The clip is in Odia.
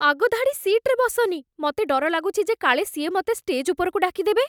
ଆଗ ଧାଡ଼ି ସିଟ୍‌ରେ ବସନି । ମତେ ଡର ଲାଗୁଛି ଯେ କାଳେ ସିଏ ମତେ ଷ୍ଟେଜ୍ ଉପରକୁ ଡାକି ଦେବେ ।